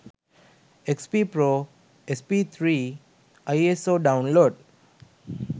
xp pro sp3 iso download